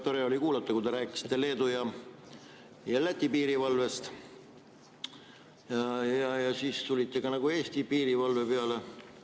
Tore oli kuulata, kui te rääkisite Leedu ja Läti piirivalvest ja siis tulite nagu Eesti piirivalve peale.